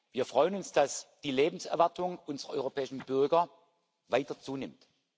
Wir freuen uns, dass die Lebenserwartung unserer europäischen Bürger weiter zunimmt.